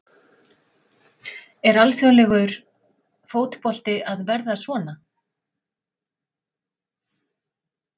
Er alþjóðlegur fótbolti að verða svona?